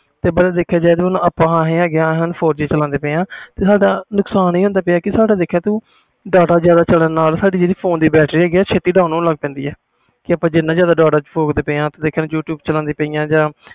ਤੇ ਦੇਖਿਆ ਜਾਵੇ ਆਪਾ ਆਏ ਹੈ ਗੇ ਆ four G ਚਲਾਂਦੇ ਪਏ ਆ ਸਾਡਾ ਨੁਕਸਾਨ ਆਹ ਹੁੰਦਾ ਪਿਆ data ਜਿਆਦਾ ਚਲਣ ਨਾਲ ਸਾਡੀ ਜਿਹੜੀ ਫੋਨ ਦੀ ਬਿਟ੍ਰੇਰੀ ਹੈ ਗੀ ਆ ਜਲਦੀ dwon ਹੋਣ ਲੱਗ ਪੈਂਦੀ ਆ ਆਪਾ ਜਿਨ੍ਹਾਂ ਜਿਆਦਾ data use ਕਰਦੇ ਆ